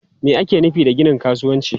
Me ake nufi da ginin kasuwanci?